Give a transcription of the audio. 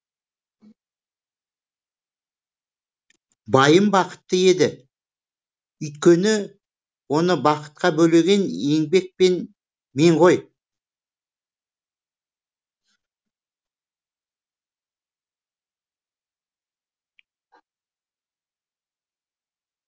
байым бақытты еді үйткені оны бақытқа бөлеген еңбек пен мен ғой